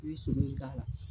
I be sulu nin k'a la.